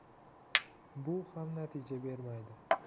Bu ham natija bermaydi.